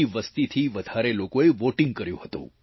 વસ્તી થી વધારે લોકોએ વોટિંગ કર્યું હતું